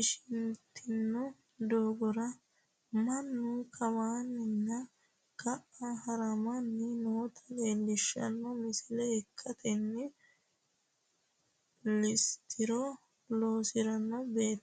ishintino doogora mannu kawanna ka'a haramanni noota leellishshanno misile ikkitanna, lisitiro loosanno beettino leellanno.